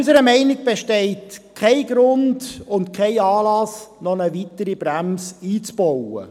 Unserer Meinung nach bestehen kein Grund und kein Anlass, noch eine weitere Bremse einzubauen.